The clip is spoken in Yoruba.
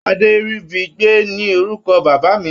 Adéríbigbé ni orúkọ bàbá mi.